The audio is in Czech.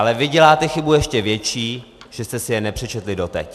Ale vy děláte chybu ještě větší, že jste si je nepřečetli doteď!